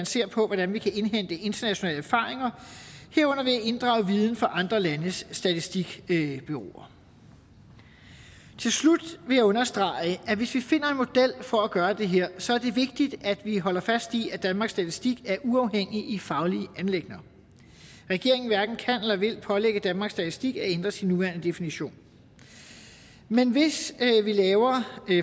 se på hvordan vi kan indhente internationale erfaringer herunder ved at inddrage viden fra andre landes statistikbureauer til slut vil jeg understrege at hvis vi finder en model for at gøre det her så er det vigtigt at vi holder fast i at danmarks statistik er uafhængig i faglige anliggender regeringen hverken kan eller vil pålægge danmarks statistik at ændre sin nuværende definition men hvis vi laver